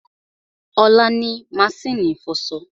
Olá ni maṣínì ìfọṣọ